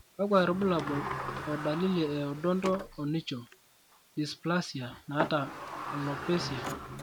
kakwa irbulabol o dalili e Odonto onycho dysplasia naata alopecia?